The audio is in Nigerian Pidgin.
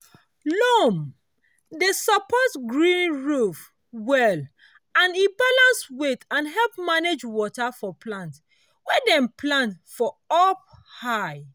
loam dey support green roofs well e balance weight and help manage water for plants wey dem plant for up high.